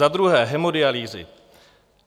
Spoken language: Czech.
Za druhé - hemodialýzy.